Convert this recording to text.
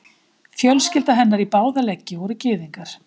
Fjölskylda hennar í báða leggi voru gyðingar.